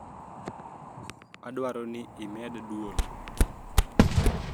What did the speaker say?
Adwaro ni imed dwol